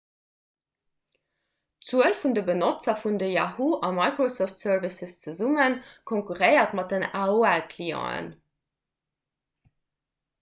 d'zuel vun de benotzer vun de yahoo!- a microsoft services zesumme konkurréiert mat den aol-clienten